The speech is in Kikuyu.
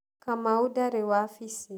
Kamau ndarĩ wabici.